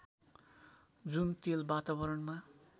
जुन तेल वातावरणमा